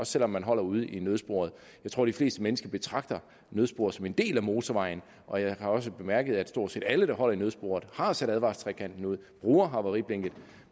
selv om man holder ude i nødsporet jeg tror de fleste mennesker betragter nødsporet som en del af motorvejen og jeg har også bemærket at stort set alle som holder i nødsporet har sat advarselstrekanten ud og bruger havariblinket